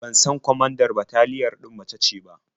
Ban san kwamandar bataliyan ɗin mace ce ba.